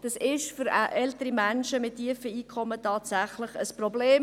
Das ist für ältere Menschen mit tiefen Einkommen tatsächlich ein Problem.